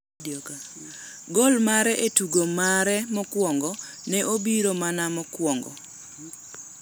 Goal mare e tugo mare mokwongo, ne obiro mana mokuongo.